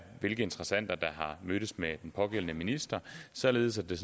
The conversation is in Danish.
hvilke interessenter der har mødtes med den pågældende minister således at det